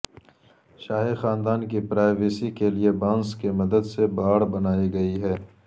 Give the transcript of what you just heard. شاہی خاندان کی پرائیوسی کے لیے بانس کی مدد سے باڑ بنائی گئی ہے